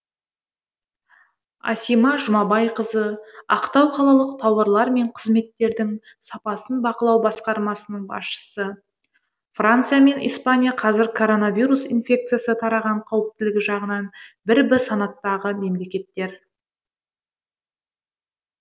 асима жұмабайқызы ақтау қалалық тауарлар мен қызметтердің сапасын бақылау басқармасының басшысы франция мен испания қазір коронавирус инфекциясы тараған қауіптілігі жағынан бір б санаттағы мемлекеттер